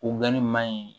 O ni maa in